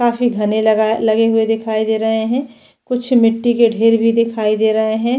काफी घने लगाय लगे हुए दिखाई दे रहै है कुछ मिटटी के ढेर भी दिखाई दे रहै है।